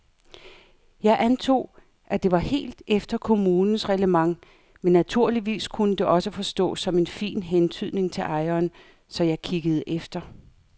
Jeg antog, at det var helt efter kommunens reglement men naturligvis kunne det også forstås som en fin hentydning til ejeren, så jeg kiggede efter.